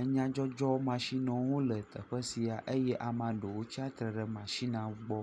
Enyadzɔdzɔ matsinwo hã le teƒe sia eye ame aɖewo tsatsitre ɖe matsina gbɔ.